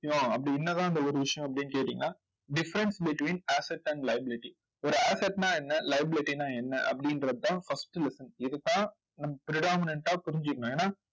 அப்படி என்னதான் அந்த ஒரு விஷயம் அப்படின்னு கேட்டீங்கன்னா difference between asset and liability ஒரு asset னா என்ன liability ன்னா என்ன அப்படின்றதுதான் first lesson இதுதான் நம்ம predominant ஆ புரிஞ்சுக்கணும். ஏன்னா